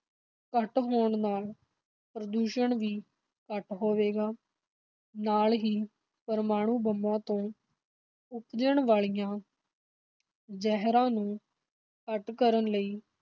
ਘੱਟ ਹੋਣ ਨਾਲ ਪ੍ਰਦੂਸ਼ਣ ਵੀ ਘੱਟ ਹੋਵੇਗਾ, ਨਾਲ ਹੀ ਪ੍ਰਮਾਣੂ ਬੰਬਾਂ ਤੋਂ ਉਪਜਣ ਵਾਲੀਆਂ ਜ਼ਹਿਰਾਂ ਨੂੰ ਘੱਟ ਕਰਨ ਲਈ